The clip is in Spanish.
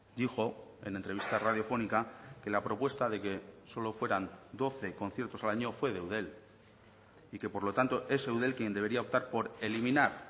dijo en entrevista radiofónica que la propuesta de que solo fueran doce conciertos al año fue de eudel y que por lo tanto es eudel quien debería optar por eliminar